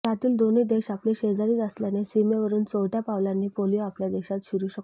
यातील दोन देश आपले शेजारीच असल्याने सीमेवरून चोरटय़ा पावलांनी पोलिओ आपल्या देशात शिरू शकतो